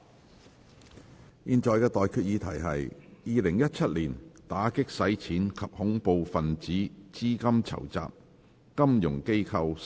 我現在向各位提出的待決議題是：《2017年打擊洗錢及恐怖分子資金籌集條例草案》，予以二讀。